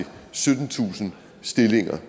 syttentusind stillinger